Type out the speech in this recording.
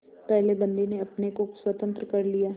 पहले बंदी ने अपने को स्वतंत्र कर लिया